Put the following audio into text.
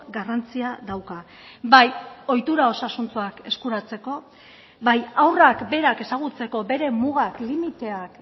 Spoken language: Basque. garrantzia dauka bai ohitura osasuntsuak eskuratzeko bai haurrak berak ezagutzeko bere mugak limiteak